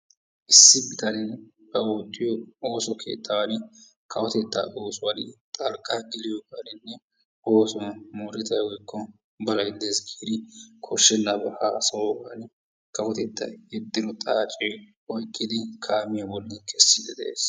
issi bitanee ba oottiyo ooso keettan kawotetta oosuwa xalqqa geliyoogara oosuwan moorettay wolyyko balay dees giidi koshshenaba haassayyogan kawotettay kiittido xaace oykkidi kaamiya bolli keesside de'ees.